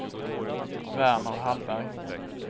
Verner Hallberg